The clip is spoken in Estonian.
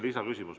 Lisaküsimus.